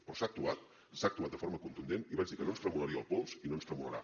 però s’ha actuat s’ha actuat de forma contundent i vaig dir que no ens tremolaria el pols i no ens tremolarà